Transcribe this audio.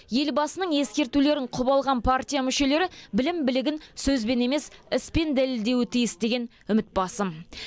елбасының ескертулерін құп алған партия мүшелері білім білігін сөзбен емес іспен дәлелдеуі тиіс деген үміт басым